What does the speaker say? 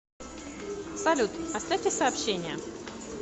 салют оставьте сообщение